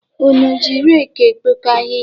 Unu ji reki ekpoko ahịhịa?